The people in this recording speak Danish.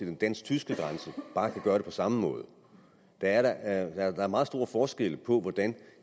den dansk tyske grænse kan gøre det på samme måde der er meget store forskelle på hvordan